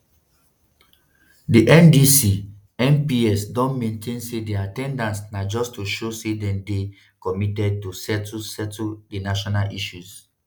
di ndc mps don maintain say dia at ten dance na just to show say dem dey committed to settle settle di national issues.